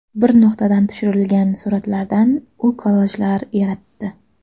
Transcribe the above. Bir nuqtadan tushirilgan suratlardan u kollajlar yaratdi.